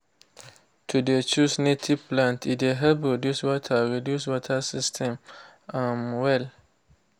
to de choose native plant e de help reduce water reduce water system um well.